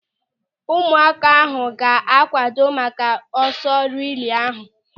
Ụmụaka ahụ ga-akwado maka ọsọ rilee ahụ.